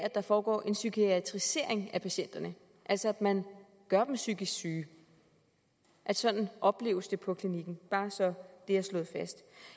at der foregår en psykiatrisering af patienterne altså at man gør dem psykisk syge sådan opleves det på klinikken bare så det er slået fast